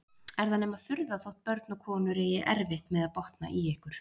Er það nema furða þótt börn og konur eigi erfitt með að botna í ykkur!